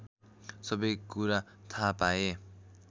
सबै कुरा थाहा पाए